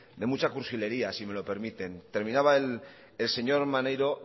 de mucha cursilería si me lo permiten terminaba el señor maneiro